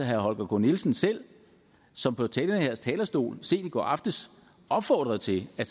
herre holger k nielsen selv som på den her talerstol sent i går aftes opfordrede til at